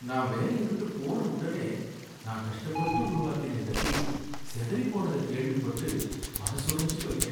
நான் வேலைய விட்டு போன உடனே, நான் கஷ்டப்பட்டு உருவாக்கின இந்த டீம் சிதறி போனத கேள்விப்பட்டு மனசொடைஞ்சு போயிட்டேன்.